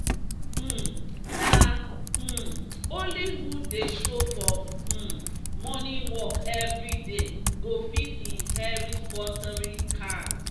um "na um only who dey show for um morning work every day go fit inherit watering can."